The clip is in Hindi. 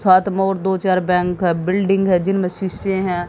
सात मो और दो चार बैंक का बिल्डिंग है जिनमें शीशे हैं।